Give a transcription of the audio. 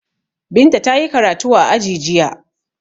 Binta ta yi karatu a aji jiya.